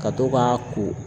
Ka to k'a ko